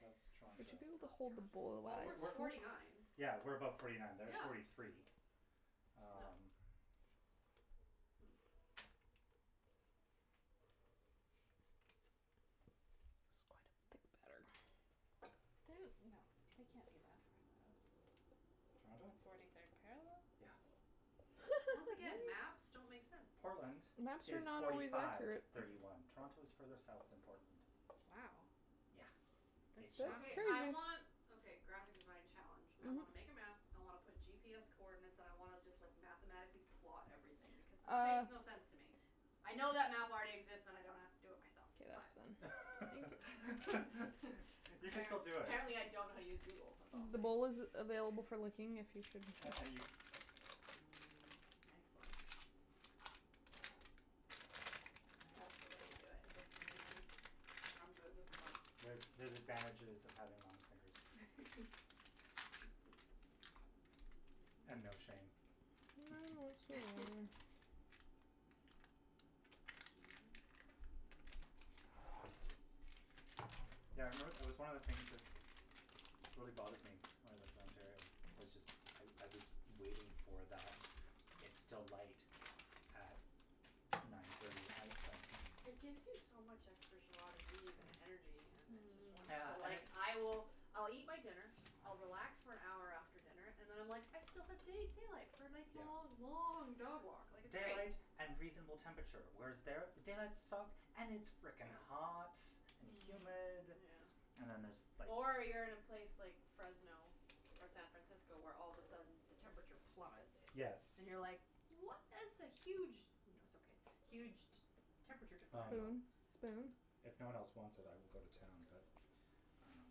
That's Oh, Would you be Toronto. able to it's hold the bowl Toronto. Well, we're forty nine. Yeah, we're above forty nine. They're at forty Yeah. three. No. Um. Hm. This is quite a thick batter. They, no, they can't be that far south. Toronto? Forty third parallel? Yeah. Once again, maps don't Really? make sense. Portland Maps are is not forty always five, accurate. thirty one. Toronto is further south than Portland. Wow. Yeah. That's That's It's south. Okay. fascinating. I that's want, okay, graphic design challenge. I Mhm. wanna make a map, I wanna put GPS coordinates and I wanna just, like, mathematically plot everything because this makes Uh. no sense to me. I know that map already exists and I don't have to do it Get out for then. myself, but You can App- still do it. apparently I don't know how to use Google, that's all I'm The saying. bowl is available for licking if you should. And and you Mm, excellent. That's the way you do it. Nice, the Mhm. big I'm good with one. There's, there's advantages of having long fingers. And no shame. I've no Mhm. shame. Mhm. Yeah, I remember, it was one of the things that really bothered me when I lived in Ontario was just I I was waiting for that it's still light at nine thirty at night thing. It gives you so much extra jois de vivre and energy and it's just Yeah, Mm. wonderful. I Like, I will, I'll eat my dinner, I'll relax for an hour after dinner and then I'm like, I still have da- daylight for a nice Yeah. long, long dog walk, like, it's Daylight night. and reasonable temperature. Whereas there, the daylight stops and it's frickin' Yeah. hot and humid Mm. Yeah. and then there's, like. Or you're in a place like Fresno or San Francisco, where all of a sudden the temperature plummets. Yes. And you're, like, what is the huge No, it's okay. Huge t- temperature Um, differential. Spoon, spoon? if no one else wants it, I will go to town, but um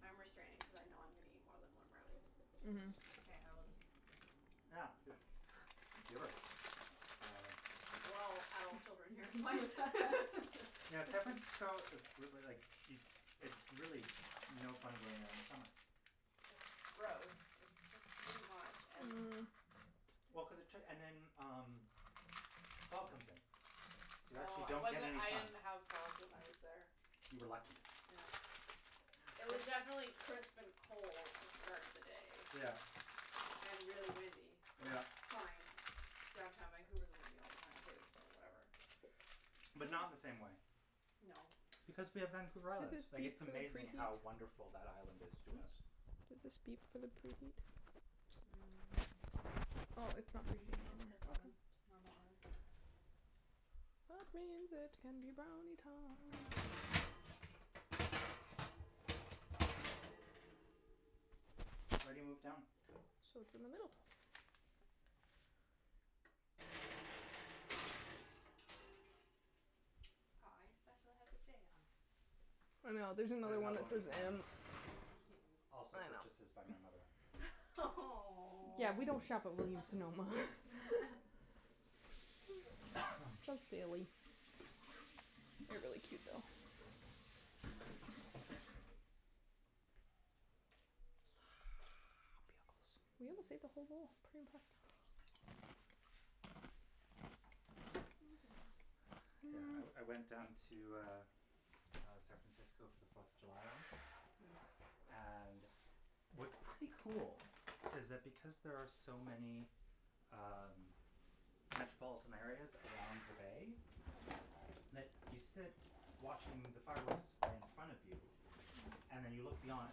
I'm restraining cuz I know I'm gonna eat more than one brownie. Mhm. Okay, I will just lick the Yeah, spoon. good. Giver. Uh. We're all adult children here, like Yeah, San Francisco is like, it it's really no fun going there in the summer. It's gross. It's just too much, and Mm. Well, cuz it took, and then, um, the fog comes in, so you actually Oh, it don't get wasn't, any it sun. didn't have fog when I was there. You were lucky. Yeah. It was definitely crisp and cold to start the day. Yeah. And really windy, which Yeah. fine. Downtown Vancouver is windy all the time, too, so whatever. But not in the same way. No. Because we have Vancouver Do Island. these Like, beep it's for the amazing preheat? how wonderful that island is to Hm? us. Do these beep for the preheat? Mm. Oh, it's not preheating No, it anymore, says oven, okay. normal oven. That means it can be brownie Brownie time. time. I already moved it down. So it's in the middle. Aw, your spatula has a J on it. I know, there's There's another one another that one says with an M. M. Cute. Also purchases by my mother. S- yeah, we don't shop at Williams Sonoma. Just daily. They're really cute, though. Ah, Bugles. We almost ate the whole bowl. Pretty impressive. Mm. Yeah, I I went down to, uh, San Francisco for the Fourth of July once. Mm. And what's pretty cool is that because there are so many um metropolitan areas around the bay, that you sit watching the fireworks display in front of you And Mm. then you look beyond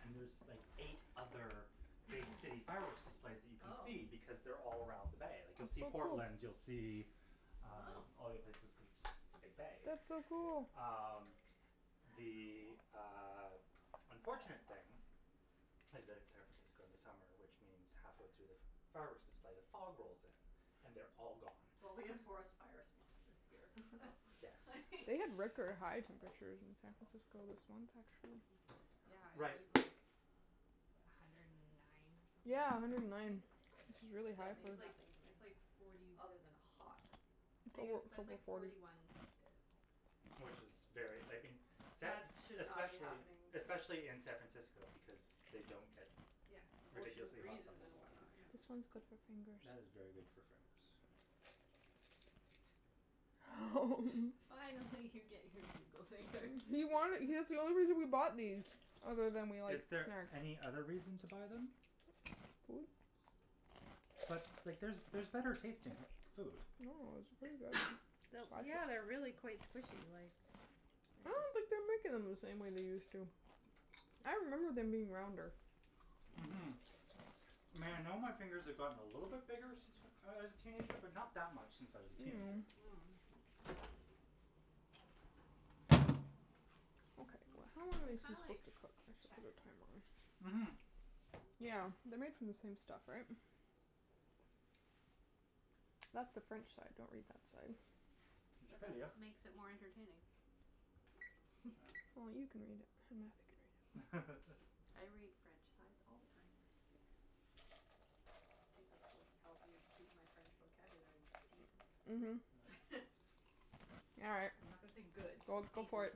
and there's like eight other big city fireworks displays that you can Oh. see because they're all around the bay. Like, you'll see Portland, you'll see um Wow. all the other places cuz it's just it's a big bay. That's so cool. Uh, That's the, cool. uh, unfortunate thing is that it's San Francisco in the summer, which means halfway through the fireworks display, the fog rolls in and they're all gone. Well, we have forest fires month this year, so Yes. They have record high temperatures in San Francisco this month, actually. Mm. Yeah, it Right. was like a hundred and nine or something, Yeah, a like, hundred and nine, Fahrenheit. which is really high That Which Yeah. for. means is like, nothing to it's me. like forty Other than hot Tha- that's like forty. forty one Celsius. Which is very, I mean, San That is should not be Especially, happening. especially in San Francisco because they don't get Yeah. Ocean ridiculously hot breezes summers. and whatnot, yeah. This one's good for fingers. That is very good for fingers. Fine, I'll let you get your Bugle fingers. He wanted. That's the only reason we bought these, other than we Is like snacks. there any other reason to buy them? But, like, there's there's better tasting food. No, it's really good. Yeah, they're really quite squishy, like I don't think they're making them the same way they used to. I remember them being rounder. Mhm. Mhm. I know my fingers have gotten a little bit bigger since I was a teenager, but not that much since I was a teenager. Mm. Mm. Okay, how Mm, long they are are these kinda like supposed to cook? I should put a timer on. Mhm. Yeah, they're made from the same stuff, right? That's the French side, don't read that side. It just makes it more entertaining. Well, you can read it or Matthew can read it. I read French sides all the time. I think that's what's helped me keep my French vocabulary decent. Mhm. All right, I'm not gonna say good, well, but go for decent. it.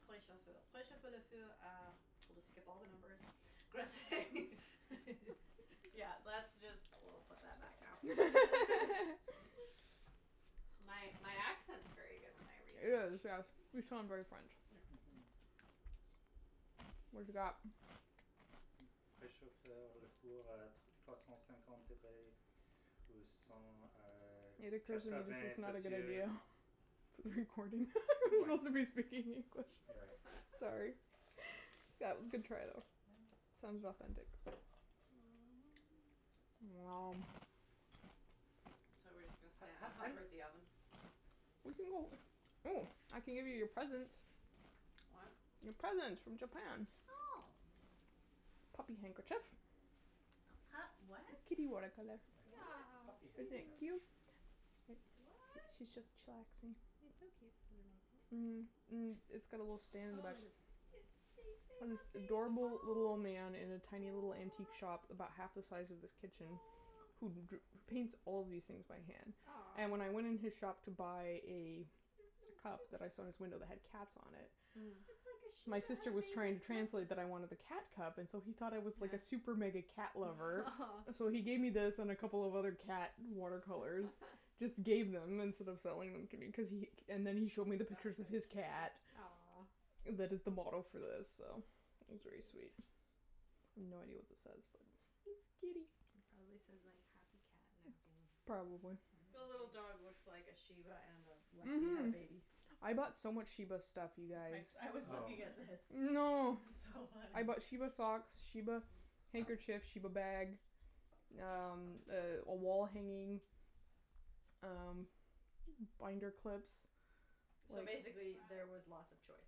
We'll just skip all the numbers. Yeah, that's just, woah, put that back now. My my accent's very good when I read It is, French. yes, you sound very French. Yeah. Mhm. What have you got? It occurs to me this is not a good idea. For the recording. We're supposed to be speaking English. You're right. S- sorry That was a good try, though. Yeah. Sounded authentic. Wow. So, we're just gonna and hover at the oven? We can go. Oh, I can give you your presents. What? Your presents from Japan. Oh. Puppy handkerchief. A pup what? A kitty one I It's a What? Aw, puppy cute. handkerchief. cute? What? She's just chillaxing. He's so cute sitting like Mhm. that. Mm. It's got a little Oh, stand in the back. it is. It's chasing a This big ball, adorable little old oh. man in a tiny little antique shop about half the size of this kitchen who dr- paints all these things by hand. And when Aw. I went in his shop to buy a You're so cup that I saw in his cute. window that had cats on it. Mhm. It's like a My shiba had sister a was baby trying to with Lexie. translate that I wanted the cat cup and so he thought I was like a super mega Yeah. cat lover. So he gave me this and a couple of other cat water colors, just gave them instead of selling them to be cuz he. And then he showed me the This back pictures of side's his cute, too. cat. Aw. That is the model for this, so it was very sweet. I have no idea what this says, but It's it's a kitty kitty. It probably says, like, happy cat napping. Or Probably. The something. little dog Mhm. looks like a shiba and a Lexie had a Mhm. baby. I bought so much shiba stuff, you guys. I I was Oh. looking at this. Oh no. It's so funny. I bought shiba socks, shiba handkerchiefs, shiba bag, um, a wall hanging, um, binder clips. So basically there was Wow. lots of choice.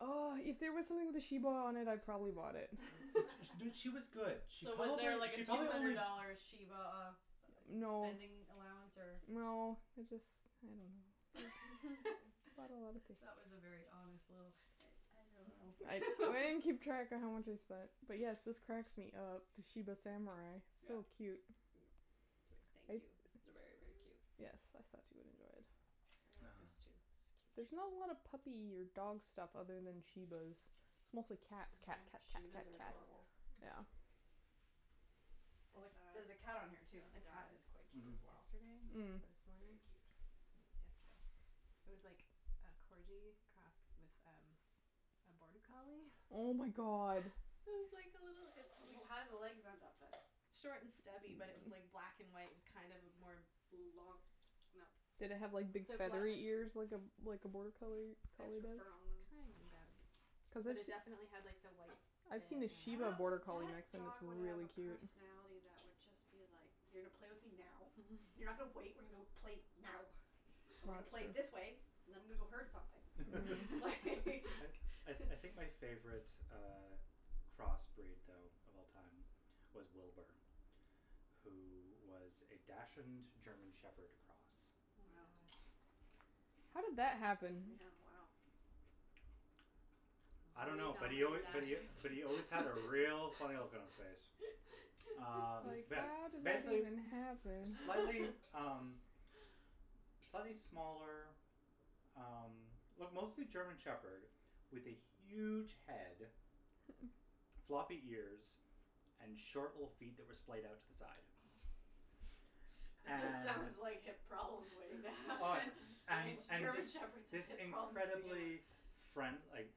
Oh, if there was something with a shiba on it, I probably bought it. She was good. She So, was probably, there, like, a she two probably hundred only dollar shiba uh No, spending allowance or? no, it just, I don't know. It's got a lotta pics. That was a very honest little, I I don't I I know. didn't keep track of how much I spent. But, yes, this cracks me up, the shiba samurai, Yeah. No. so cute. Thank you. This is very, very cute. Yes, I thought you would enjoy it. I Uh. like this, too. This is There's not cute. a lot of puppy or dog stuff other than shibas. It's mostly cats. Cat, cat, cat, cat, shibas are cat. adorable. Yeah. Like, I there's a cat on here, saw too, and the cat a is quite cute Mhm. as dog well. yesterday. Or Mm. this Very morning. cute. Maybe it was yesterday. It was like a corgi crossed with a border collie. Oh, my god. It was like a little How did the legs end up, then? Short and stubby, but it was like black and white kind of a more Long, no. Did it have, like, big feathery ears like a like a border collie collie Extra does? fur on them. Kind of, Cuz but I've it definitely had s- like the white I've seen in a it and shiba That border wou- collie that mix and it's dog would have really a cute. personality that would just be like, "You're gonna play with me now, you're not gonna wait, we're gonna play now and we're gonna play That's this way true. and I'm gonna go herd something, like" I I I think my favorite uh crossbreed though of all time was Wilbur, who was a dachshund German shepherd cross. Oh my Wow. gosh. How did that happen? Yeah, wow. I don't A know, but real he al- dine but he and but dash. he always had a real funny look on his face. Um, Like, yeah, how did that basic- even , happen? slightly, um, slightly smaller um well mostly German Shepherd with a huge head, floppy ears and short little feet that were splayed out to the side. It just And sounds like hip problems way Oh, down. and and German this Shepherds have this hip problems at the beginning. incredible friend- like,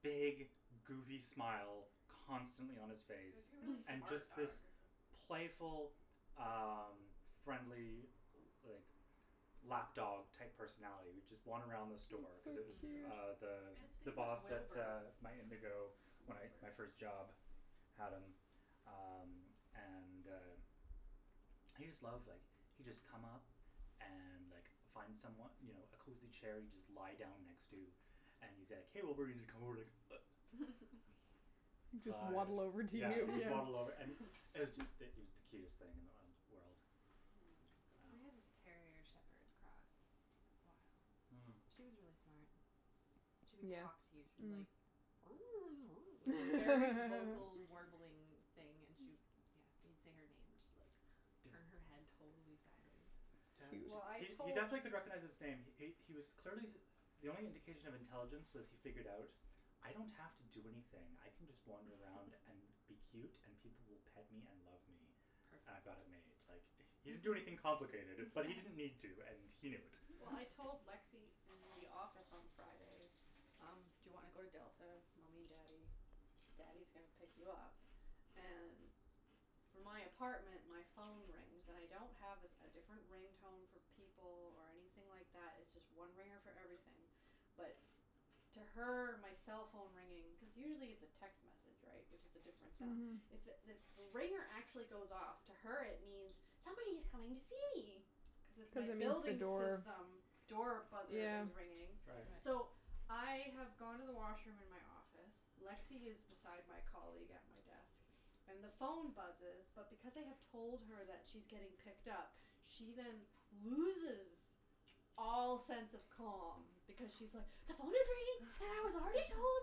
big goofy smile constantly on his It face. would be a really And smart just dog. this playful um friendly, like, lap dog type personality that would just wander around the That's so store cuz it was cute. uh Mm. the And its the name was boss at Wilbur. my Indigo. At Whatever. my first job had him um and uh he just loved like he'd just come up and like find someone, you know, a cozy chair he'd just lie down next to and he's like, hey Wilbur, and he's just come over and like He'd just waddle over to you, Yeah, just waddle over. yeah. It was just it was the cutest thing in the world. We had a Um. Mm. terrier shepherd cross for a while. Mm. She was really smart. She would Yeah. talk to you. She'd be Mhm. like Like, very vocal warbling thing and she'd, yeah. You'd say her name and she'd like turn her head totally sideways. He- well, I He he tot- definitely Cute. could recognize his name. He he was clearly the only indication of intelligence was he figured out, "I don't have to do anything." I can just wander around and be cute and people will pet me and love me. Perfect. I've got it made. Like, Perfect. he didn't do anything complicated, but he didn't need to, and he knew it. Well, I told Lexie in the office on Friday, um, do you want to go to Delta, mommy and daddy? Daddy's gonna pick you up. And from my apartment, my phone rings. And I don't have a a different ring tone for people or anything like that, it's just one ringer for everything, but to her my cell phone ringing. Cuz usually it's a text message, right, which is a different sound. Mhm. It's if the ringer actually goes off, to her it means, "Somebody's coming to see me", cuz it's my Cuz it means the building door. system door buzzer Yeah. is ringing. Right. So, Right. I have gone to the washroom in my office, Lexie is beside my colleague at my desk and the phone buzzes, but because I have told her that she's getting picked up, she then loses all sense of calm because she's, like, "The phone is ringing and I was already told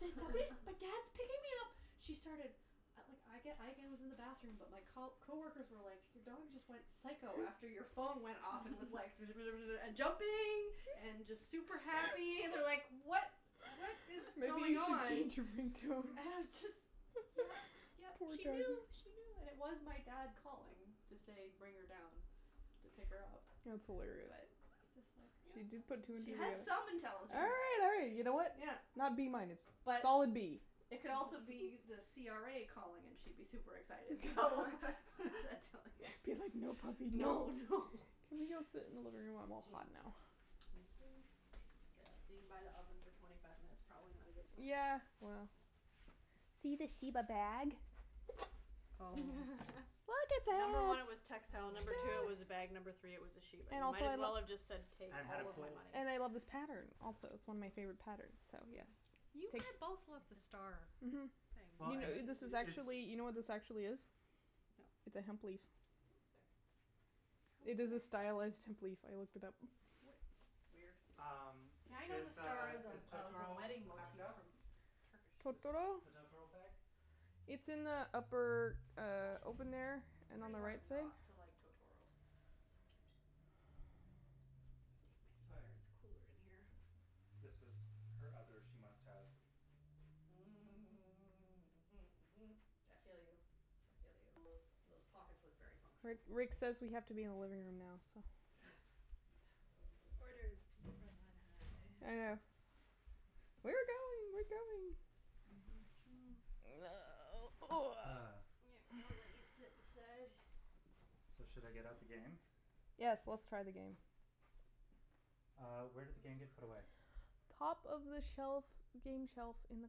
that somebody, that dad's picking me up. She started. At like, I, again, was in the bathroom, but my co- coworkers were like your dog just went psycho after your phone went off and was like and jumping and just super happy and they're like what, what is Maybe going you should on? change your And it ringtone. was just, yeah, yeah, Poor she doggy. knew, she knew. And it was my dad calling to say bring her down to pick her up, That's hilarious. but it's just like, yeah, She just put two and two she has together. some intelligence. Hey, you know, you know what, Yeah. not B minus. But Solid B. it could also be the CRA calling and she'd be super excited, so what does that tell you? Cuz like no puppy No, no. Can we go sit in the living room? I'm all hot now. Yeah, being by the oven for twenty five minutes, probably not a good plan. Yeah, well. See the shiba bag? Oh. Look at Number one, it was that. textile; Oh, number two it my was a god. bag; Look. number three it was a sheep. And And it also might I as love well have just said take And had a all of my pull money. And I love this pattern also, it's Yeah. one of my Mhm. favorite patterns, so yes. Mhm. You had both loved the Take. star Mhm. things. Well, You and, kn- this is it's. actually, you know what this actually is? It's No. a hemp leaf. No. Oops, sorry. How It is it is a a h- stylus hemp leaf. I looked it up. We- weird. Um, See, I know the is, star uh, as a is as a Totoro wedding packed motif up? from Turkish. The Totoro? the Totoro bag? It's in the upper, uh, open there It's and on pretty the right hard side. not to like Totoro. It's so cute. I'm gonna take my Oh, sweater; yes. it's cool in here. This was her other she must have. Mm. Mhm. mhm, mhm. I feel you, I feel you. Those pockets look very Ri- functional. Rick says we have to be in the living room now, so. Okay. Orders from on high. I know. We're going, we're going. Ah. I'll let you sit beside. So, should I get out the game? Yes, let's try the game. Uh, where did the game get put away? Top of the shelf, game shelf in the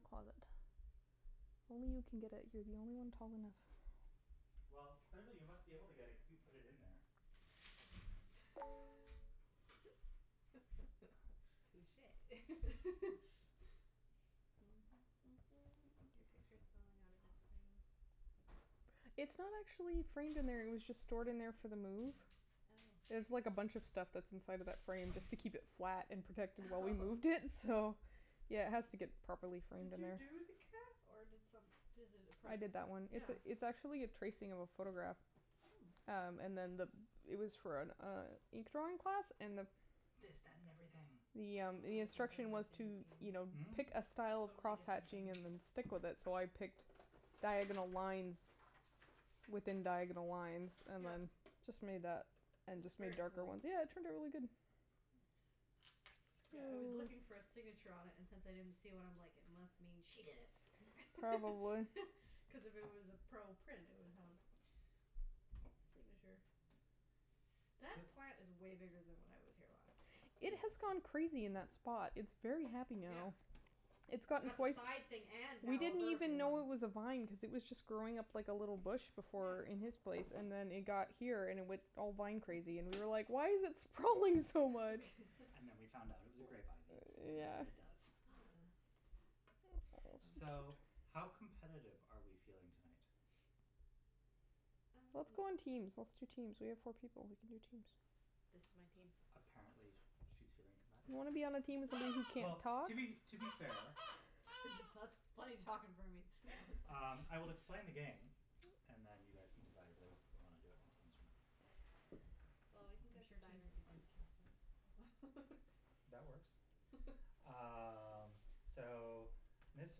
closet. Only you can get it. You're the only one tall enough. Well, clearly you must be able to get it cuz you put it in there. Touche. Your picture is falling out of its frame. It's not actually framed in there. It was just stored in there for the move. Oh. There's like a bunch of stuff that's inside of that frame just to keep it flat and protected while we Oh moved in, so yeah, it has to get properly framed Did in you there. do the cat or did some- does it a I print? did that one. It's Yeah. it's actually a tracing of a photograph. Hmm. Um, and then the it was for an uh ink drawing class and the This, that and everything. Yeah, Totally the different than instruction was to, game. you know, Hmm? pick a style of Totally different than crosshatching and then stick with it, so I picked diagonal lines within diagonal lines and Yeah. then just made that and It's just made very darker cool. ones. Yeah, it turned out really good. Mm. Yeah, I was looking for a signature on it and since I didn't see one, I'm like, it must mean she did it Probably. cuz if it was a pro print, it would have a signature. So. That plant is way bigger than when I was here last. It Yes. has gone crazy in that spot. It's very happy Yeah. now. It's gotten Got the quite side thing and We now a didn't even vertical one. know it was a vine cuz it was just growing up like a little bush before in Yeah. his place and then it got here and it went all vine crazy and we were like, why is it sprawling so much? And then we found out it was a grape ivy and that's Yeah. what it does. Ah. Oh. So, how competitive are we feeling tonight? Um. Let's go in teams, let's do teams. We have four people; we can do teams. This is my team. A- apparently she's feeling You competitive. wanna be on the team with somebody who can't Well, talk? to be, to be fair That's talking for me. No, that's Um, fine. I will explain the game and then you guys can decide whether we want to do it in teams or not. Well, we can I'm go sure teams designers is fine. against counselors, so That works. Um, so this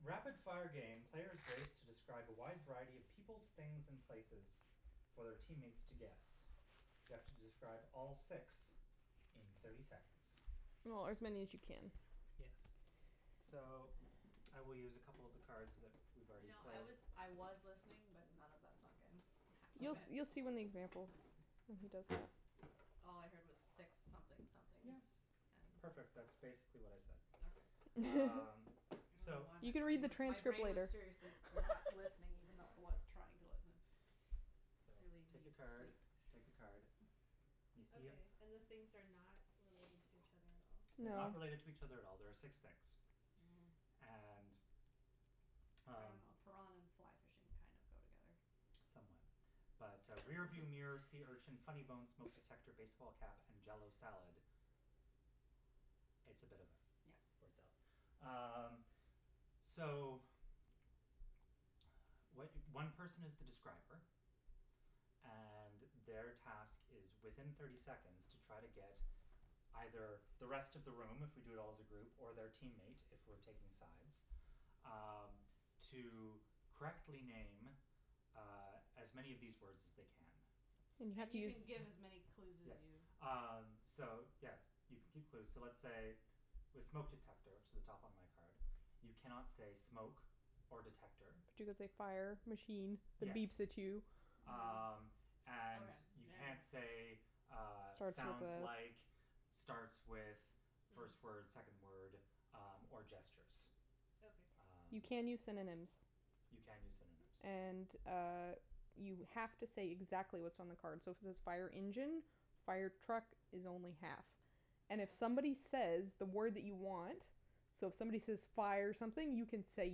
rapid-fire game, players race to describe a wide variety of peoples, things and places for their teammates to guess. You have to describe all six in thirty seconds. Or as many as you can. Yes. So, I will use a couple of the cards that we've You already know, I played. was I was listening, but none of that sunk in, I have to You Okay. admit. you'll see when the example when he does that. All I heard was six something somethings Yeah, and. perfect, that's basically what I said. Okay. Um, I don't know so. why You my can read brain the was, my transcript brain was later. seriously not listening, even though I was trying to listen. So, Clearly take a need card, sleep. take a card. You see them? Okay, and the things are not related to each other at all? They're No. not related to each other at all; there are six things. Mhm. And, I don't um know, piranha and and fly fishing kind of go together. Somewhat. But, uh, rearview So. mirror, sea urchin, funny bone, smoke detector, baseball cap and jell-o salad, it's a bit of yeah Yeah. words up. Um, so what one person is the describer, and their task is within thirty seconds to try to get either the rest of the room if we do it all as a group or their teammate if we're taking sides Um, to correctly name uh as many of these words as they can. And you have And to you use can give as many clue Yes. as you Um, so yes, you can keep clues. So let's say with smoke detector, which is at the top on my card, you cannot say smoke or detector. But you could say fire, machine that Yes. beeps at you. Mm. Um, and Okay, you yeah can't say, yeah. uh, Starts with sounds like, this. starts with, first word, Hmm. second word, um, or gestures. Okay. Um. You can use synonyms. You can use synonyms. And, uh, you have to say exactly what's on the card, so if it says fire engine, fire truck is only half. Oh, And if okay. somebody says that word that you want, so if somebody says fire something, you can say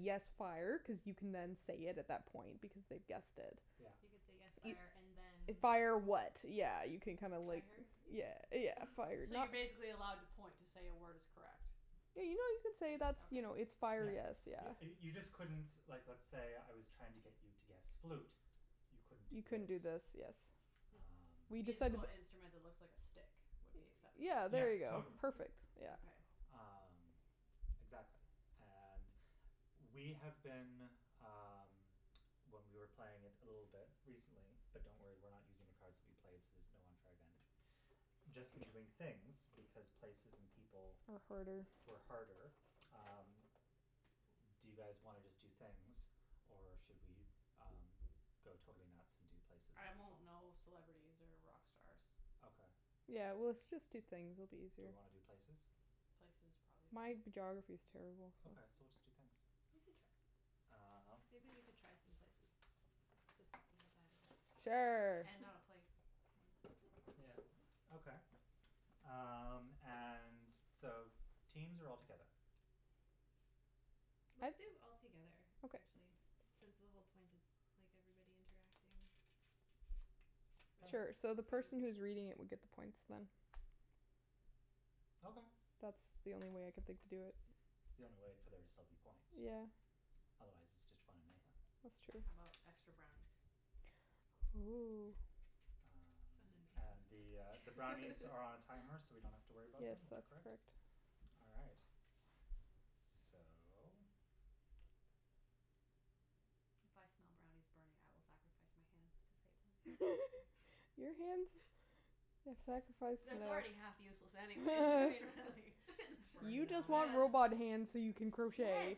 yes, fire, cuz you can then say it at that point, because they've guessed it. Yeah. You can say yes You fire and then Fire, fire vehicle. what, yeah, you can kind of like yeah, yeah, fire. So you're basically Yeah. allowed to point to say a word is correct? Yeah, you know, you can say Just that's, okay. you know, it's fire, Yeah. yes, yeah. You you just couldn't, like let's say I was trying to get you to guess flute; you couldn't do You couldn't this. do this, yes. Hmm. We Um. decided Musical that instrument that looks like a stick would be acceptable? Yeah, Yeah, there you go. totally. Perfect, yeah. Okay. Um, exactly, and we have been, um, when we were playing it a little bit recently, but don't worry, we're not using the cards that we played, so there's no unfair advantage, just been doing things because places and people Are harder. were harder. Um, do you guys wanna just do things or should we um go totally nuts and do places I and won't people? know celebrities or rock stars. Okay. Yeah, well let's just do things, it'll be Do easier. we wanna do places? Places, probably. My geography is terrible, so. Okay, so we'll just do things. We can try some- Um. maybe we can try some places just to see how bad it is. Sure. And not a place. Mm. Yeah, okay. Um, and so teams or all together? Let's I do all together, Okay. actually, since the whole point is like everybody interacting Sure. Sure, so together the for the person who is recording reading it thing. would get the points, then. Okay. That's the only way I can think to do it. It's the only way for there to still be point. Yeah. Otherwise it's just fun and mayhem. That's true. How about extra brownies? Oh. Um, Fun and the, uh, the and brownies are on a timer so we don't have to worry about Yes, them, is that that's correct? correct. All right. So. If I smell brownies burning, I will sacrifice my hands to save them. Your hands have sacrificed It's it's enough. already half useless anyways Just burn You it just off. want robot hands so you can Yes. crochet.